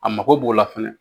A mago b'o la fɛnɛ